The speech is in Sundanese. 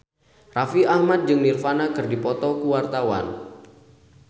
Raffi Ahmad jeung Nirvana keur dipoto ku wartawan